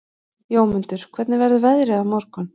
Jómundur, hvernig verður veðrið á morgun?